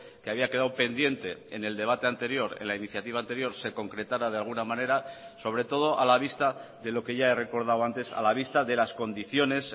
que había quedado pendiente en el debate anterior en la iniciativa anterior se concretara de alguna manera sobre todo a la vista de lo que ya he recordado antes a la vista de las condiciones